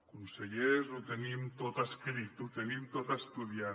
consellers ho tenim tot escrit ho tenim tot estudiat